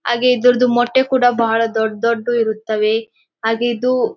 ಹಾಗೆ ಇದರದು ಮೊಟ್ಟೆ ಕೂಡ ಬಾಳ ದೊಡ್ ದೊಡ್ಡದು ಇರುತ್ತವೆ ಹಾಗೆ ಇದು--